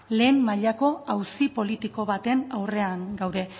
lehen mailako auzi politiko baten aurrean gaude